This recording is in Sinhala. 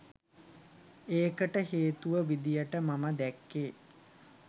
ඒකට හේතුව විදිහට මම දැක්කේ